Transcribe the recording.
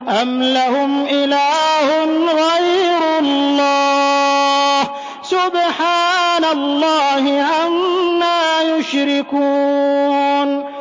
أَمْ لَهُمْ إِلَٰهٌ غَيْرُ اللَّهِ ۚ سُبْحَانَ اللَّهِ عَمَّا يُشْرِكُونَ